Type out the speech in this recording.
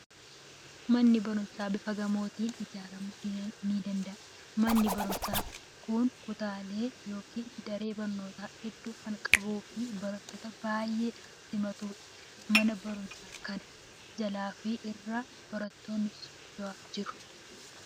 Manni barumsaa bifa gamootiin ijaaramuu ni danda'a. Manni barumsaa kun kutaalee yookiin daree barnootaa hedduu kan qabuu fi barattoota baay'ee kan simatudha. Mana barumsaa kana jalaa fi irra barattoonni socho'aa jiru.